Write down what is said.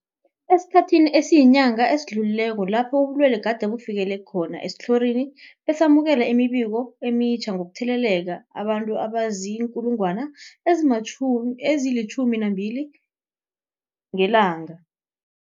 Esikhathini esiyinyanga esidlulileko lapho ubulwele gade bufikelele esitlhorini, besamukela imibiko emitjha yokutheleleka kwabantu abazii-12 000 ngelanga.